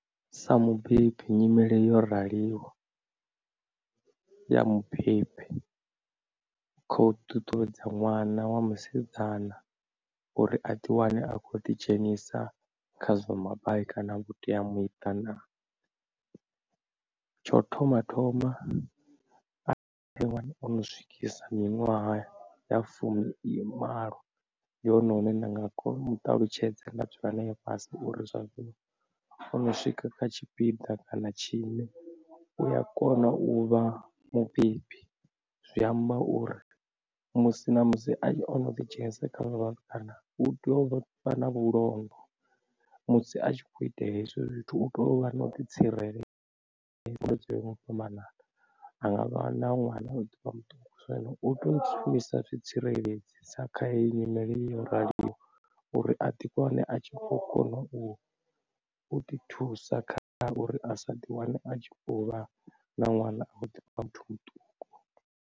Sa mubebi nyimele yo raliho ya mubebi kho ṱuṱuwedza ṅwana wa musidzana uri a ḓi wane a khou ḓi dzhenisa khazwa mabai kana vhuteamiṱa, tsho thoma thoma a fhiwa ono swikisa miṅwaha ya fumimalo, ndi hone hune nda nga kona u mu ṱalutshedze nda dzula nae fhasi uri zwa zwino o no swika kha tshipiḓa kana tshine u a kona u vha mubebi. Zwi amba uri musi na musi a tshi ono ḓi dzhenisa kha zwa vhatukana u tea u vha na vhulondo musi a tshi khou itela hezwo zwithu u tea u vha na u ḓi tsireledza zwo yaho nga u fhambanana, anga vha na ṅwana a kha ḓivha muṱuku zwino u tea u shumisa zwi tsireledzi sa kha heyi nyimele yo raliho uri a ḓiwane a tshikho kona u ḓi thusa kha uri a sa ḓi wane a tshi vhovha na ṅwana a khou ḓivha muthu muṱuku.